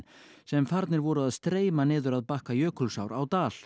sem farnir voru að streyma niður að bakka Jökulsár á Dal